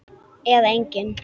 Eða engin?